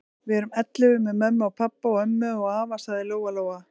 Við erum ellefu með mömmu og pabba og ömmu og afa, sagði Lóa-Lóa.